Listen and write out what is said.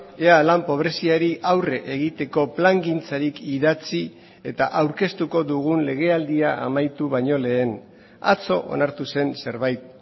ea lan pobreziari aurre egiteko plangintzarik idatzi eta aurkeztuko dugun legealdia amaitu baino lehen atzo onartu zen zerbait